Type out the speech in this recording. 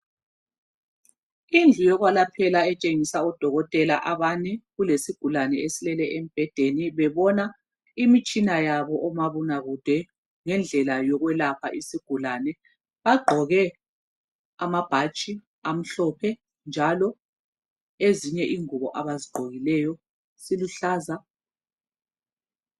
indlu yokwelaphela etshengisa odokotela abane kulesigulane esilele embhedeni bebona imitshina yabo omabona kude ngendlela yokwelapha isigulane bagqoke amabhatshi amhlophe njalo ezinye ingubo abazigqokileyo ziluhlaza